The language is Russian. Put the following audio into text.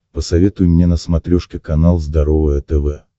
посоветуй мне на смотрешке канал здоровое тв